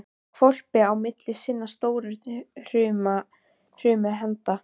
um hvolpi á milli sinna stóru hrumu handa.